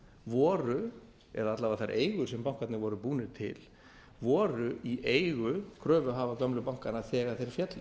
voru eða alla vega þær eigur sem bankarnir voru búnir til voru í eigu kröfuhafa gömlu bankanna þegar þeir féllu